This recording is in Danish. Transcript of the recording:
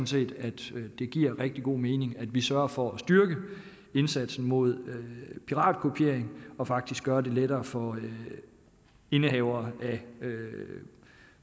set at det giver rigtig god mening at vi sørger for at styrke indsatsen mod piratkopiering og faktisk gør det lettere for indehavere af